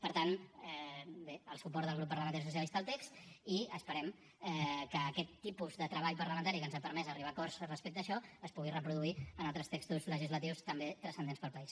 per tant bé el suport del grup parlamentari socialista al text i esperem que aquest tipus de treball parlamentari que ens ha permès arribar a acords respecte a això es pugui reproduir en altres textos legislatius també transcendents per al país